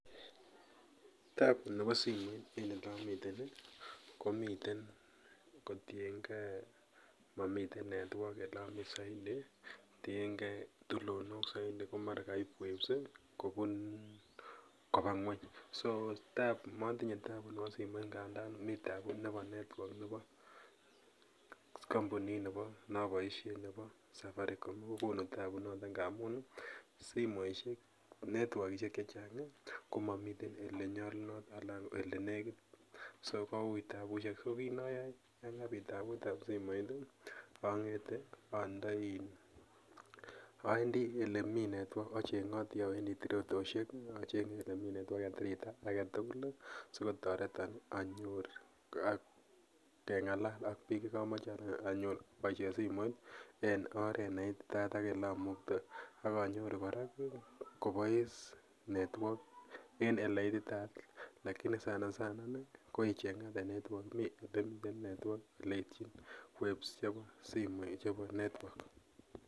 Tabu ne bo simoit en ole amiten komiten kotiengee momiten network ii elomii saidi tiengee tulonok saidi komara koip waves ii kobaa ngweny so motinyee tabu nebo simoit nganda mii tabuu ne bo network ne bo kampunit noboisien nebo sataricom kokonu tabu noton ngamun ii ntworkisiek chechang komomiten elenyolunoton alan ele nekit so ko ui tabusiek, so kinoyoo yangapi taabutab simoit ii ang'ete aendi elemii acheng'otii awendi teritosiek achengee elemii network en tirrtaa agetugul sikotoreton anyor keng'alal ak biik chekomoche anyor aboisien simoit ii en oret neititaat ak amuche anyoru kora kobois network en eleititaat lakini sanasana inei koicheng'ate network olemiten network oleityin waves chebo network .